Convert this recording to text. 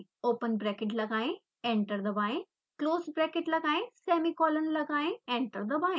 open bracket लगाएं enter दबाएं close bracket लगाएं सेमीकोलन लगाएं एंटर दबाएं